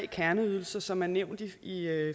kerneydelser som er nævnt i